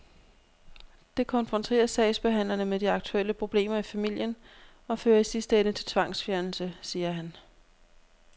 Det konfronterer sagsbehandlerne med de aktuelle problemer i familien og fører i sidste ende til tvangsfjernelse, siger han.